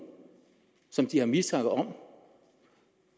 som de har mistanke om